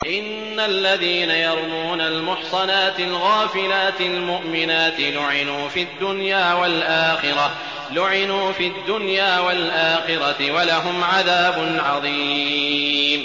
إِنَّ الَّذِينَ يَرْمُونَ الْمُحْصَنَاتِ الْغَافِلَاتِ الْمُؤْمِنَاتِ لُعِنُوا فِي الدُّنْيَا وَالْآخِرَةِ وَلَهُمْ عَذَابٌ عَظِيمٌ